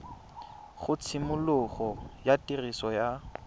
ga tshimologo ya tiriso ya